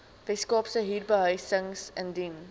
weskaapse huurbehuisingstribunaal indien